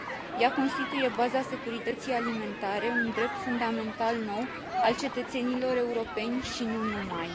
Ea constituie baza securității alimentare, un drept fundamental nou al cetățenilor europeni și nu numai.